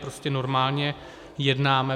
Prostě normálně jednáme.